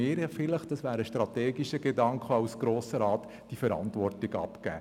Nun sollten wir als Grosser Rat diese Verantwortung abgeben.